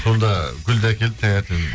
сонда гүлді әкеліп таңертең